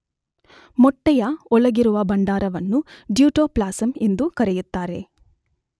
ಮೊಟ್ಟೆಯ ಒಳಗಿರುವ ಭಂಡಾರವನ್ನು ಡ್ಯೂಟೋಪ್ಲಾಸಮ್ ಎಂದೂ ಕರೆಯುತ್ತಾರೆ.